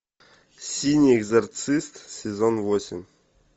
синий экзорцист сезон восемь